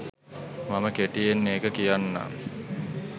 මම කෙටියෙන් ඒක කියන්නම්.